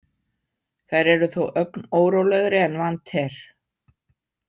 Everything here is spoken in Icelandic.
Þær eru þó ögn órólegri en vant er.